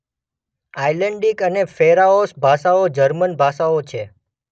Icelandic અને Faroese ભાષાઓ German ભાષાઓ છે.